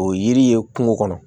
O yiri ye kungo kɔnɔ